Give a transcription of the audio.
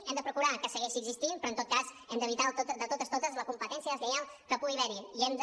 hem de procurar que segueixi existint però en tot cas hem d’evitar de totes totes la competència deslleial que pugui haver hi i hem de